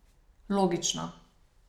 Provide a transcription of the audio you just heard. Logično.